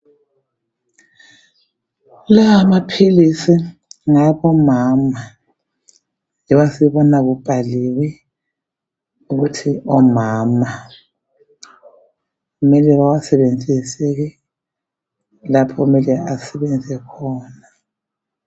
Lawamaphilisi ngawabomama njoba sibona kubhaliwe ukuthi omama kumele bawasebenzise ke lapho okumele asebenze khona